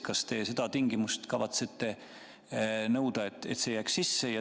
Kas te kavatsete nõuda, et see jääks sisse?